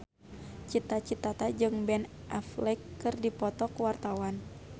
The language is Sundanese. Cita Citata jeung Ben Affleck keur dipoto ku wartawan